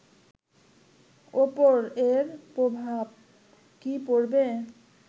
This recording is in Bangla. ওপর এর প্রভাব কী পড়বে